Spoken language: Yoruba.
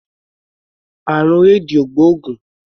Àrùn éèdì ò gbóògùn.